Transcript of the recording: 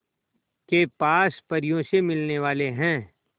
के पास परियों से मिलने वाले हैं